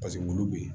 Paseke wulu bɛ yen